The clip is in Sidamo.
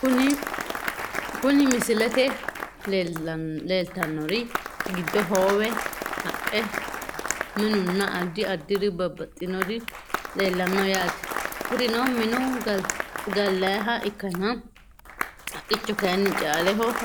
Kuni misilete leltanori giddo hoowe haqqe minunna adi adiri babaxinori leelano yaate kurino minu galyiha ikkana haqicho kayini caaleho horonsinayite yaate.